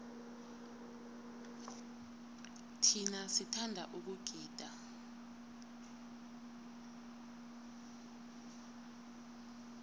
thina sithanda ukugida